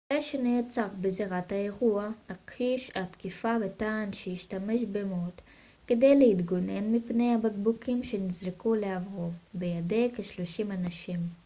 המנחה שנעצר בזירת האירוע הכחיש את התקיפה וטען שהשתמש במוט כדי להתגונן מפני הבקבוקים שנזרקו לעברו בידי כשלושים אנשים